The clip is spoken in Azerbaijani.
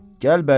Gəl bəri.